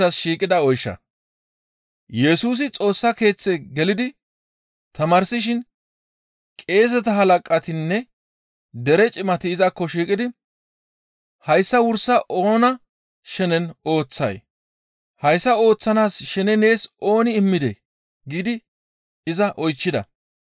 Yesusi Xoossa Keeththe gelidi tamaarsishin qeeseta halaqatinne dere cimati izakko shiiqidi, «Hayssa wursa oona shenen ooththay? Hayssa ooththanaas shene nees ooni immidee?» giidi iza oychchida.